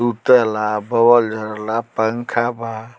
सुतेला बॉल जलेला पंखा बा।